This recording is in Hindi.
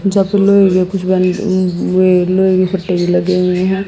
जहां पे लोग कुछ बने वो वो येलो टेबल लगे हुए हैं।